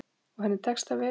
Og henni tekst það vel.